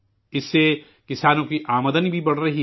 اس سے کسانوں کی آمدنی بھی بڑھ رہی ہے